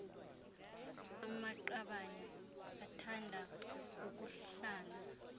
amaqabane athanda ukuhlala